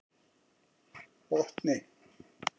Botni